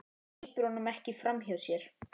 Hleypir honum ekki framhjá sér.